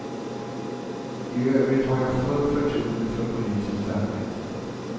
I övrigt har jag fullt förtroende för polisens arbete.